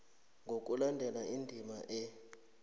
ngokulandela indima a